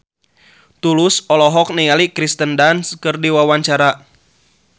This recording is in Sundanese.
Tulus olohok ningali Kirsten Dunst keur diwawancara